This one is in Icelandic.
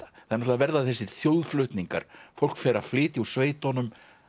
það verða þessir þjóðflutningar fólk fer að flytja úr sveitunum